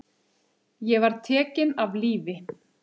Ég var tekinn af lífi.